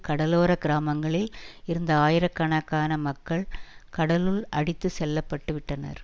கடலோரக் கிராமங்களில் இருந்த ஆயிரக்கணக்கான மக்கள் கடலுள் அடித்து செல்ல பட்டு விட்டனர்